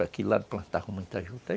Aqui e lá plantavam muita juta.